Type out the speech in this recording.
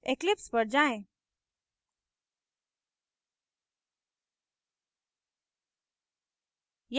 eclipse पर जाएँ